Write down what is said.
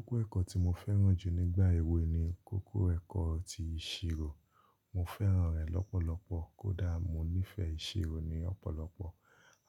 Kókó ẹ̀kọ́ tí mo fẹ́ràn jù nígbà èwè ni kókó ẹ̀kọ́ ti ìṣirò. Mo fẹ́ràn rẹ̀ lọ́pọ̀lọpọ̀ kó dà mọ ní ìfẹ́ ìṣirò ni ọ̀pọ̀lọpọ̀.